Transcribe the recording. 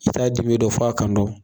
I ta' dibi dɔ fɔ a kan.